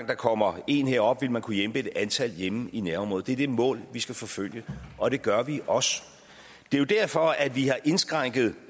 der kommer en herop vil man kunne hjælpe et antal hjemme i nærområdet det er det mål vi skal forfølge og det gør vi også det er jo derfor vi har indskrænket